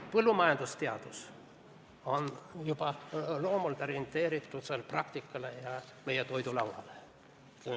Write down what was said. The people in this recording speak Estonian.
Põllumajandusteadus on juba loomult orienteeritud praktikale ja meie toidulauale.